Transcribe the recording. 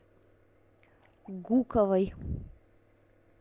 гуковой